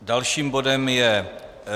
Dalším bodem je